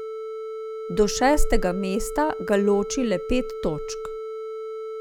Do šestega mesta ga loči le pet točk.